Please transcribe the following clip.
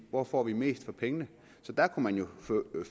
hvor får vi mest for pengene så der kunne man jo